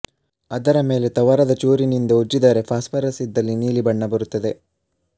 ಅದರ ಮೇಲೆ ತವರದ ಚೂರಿನಿಂದ ಉಜ್ಜಿದರೆ ಫಾಸ್ಪರಸ್ ಇದ್ದಲ್ಲಿ ನೀಲಿ ಬಣ್ಣ ಬರುತ್ತದೆ